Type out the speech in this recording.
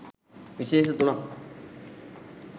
විශේෂ තුනක්